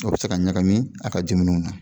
A be se ka ɲagami a ka jiminɛnw na